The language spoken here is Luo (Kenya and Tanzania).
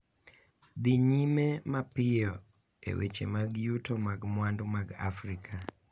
Dhi nyime mapiyo e weche mag yuto mag mwandu mag Afrika ,